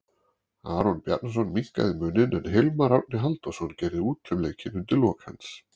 Aron Bjarnason minnkaði muninn en Hilmar Árni Halldórsson gerði út um leikinn undir lok hans.